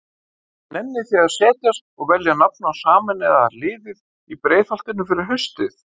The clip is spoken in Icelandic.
Nennið þið að setjast og velja nafn á sameinaða liðið í Breiðholtinu fyrir haustið?